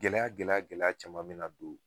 Gɛlɛya gɛlɛya gɛlɛya caman bɛ na don